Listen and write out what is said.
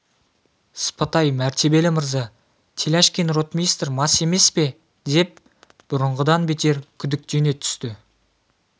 сыпатай мәртебелі мырза теляшкин ротмистр мас емес пе деп бұрынғыдан бетер күдіктене түсті